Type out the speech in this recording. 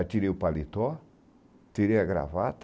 Aí tirei o paletó, tirei a gravata,